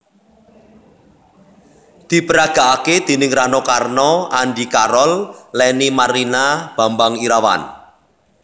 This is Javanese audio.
Diperagakake déning Rano Karno Andy Carol Lenny Marlina Bambang Irawan